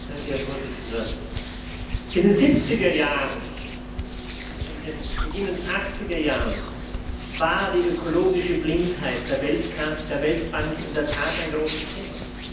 Herr Präsident! In den 70er Jahren, in den beginnenden 80er Jahren war die ökologische Blindheit der Weltbank in der Tat ein großes Thema.